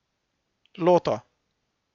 Loto.